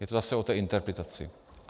Je to zase o té interpretaci.